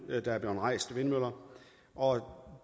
der er blevet rejst af vindmøller og